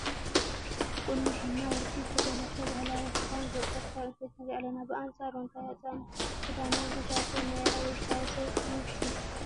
ብቑኖ፣ ሒና ፣ ወርቂ፣ ዝተጠለፈ ባህላዊ ክዳን ዝወቀበት ጓል ኣነስተይቲ ንርኢ ኣለና፡፡ ብኣንፃር መጋየፅኣን ክዳንና እዛ ሰብ ናይ ኣበይ ከባቢ ሰብ ትመስል?